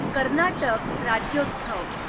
Karnataka Rajyotsav